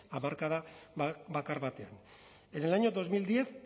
hamarkada bakar batean en el año dos mil diez